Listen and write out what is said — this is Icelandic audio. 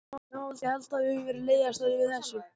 Já, ég held að við höfum verið leiðastar yfir þessu.